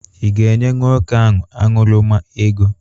Ị ga-enye nwoke ahụ aṅụrụma ego?